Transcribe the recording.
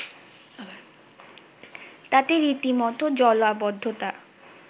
তাতে রীতিমত জলাবদ্ধতা